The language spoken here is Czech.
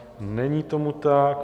Není tomu tak.